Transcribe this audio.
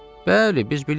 Bəli, biz bilirik.